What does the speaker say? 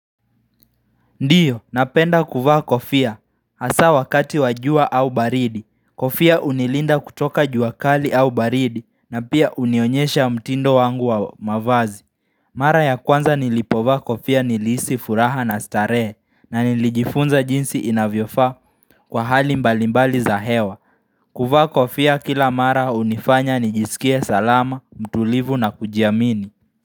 Ndiyo, napenda kuvaa kofia, hasaa wakati wa jua au baridi, kofia hunilinda kutoka jua kali au baridi, na pia hunionyesha mtindo wangu wa mavazi. Mara ya kwanza nilipovaa kofia nilihisi furaha na starehe, na nilijifunza jinsi inavyofaa kwa hali mbalimbali za hewa. Kuvaa kofia kila mara unifanya nijisikie salama, mtulivu na kujiamini.